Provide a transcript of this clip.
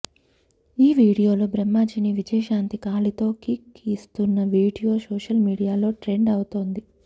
ఆ వీడియోలో బ్రహ్మాజీని విజయశాంతి కాలితో కిక్ ఇస్తున్న వీడియో సోషల్ మీడియాలో ట్రెండ్ అవుతోంది